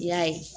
I y'a ye